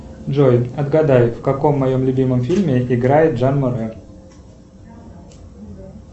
джой отгадай в каком моем любимом фильме играет жан моне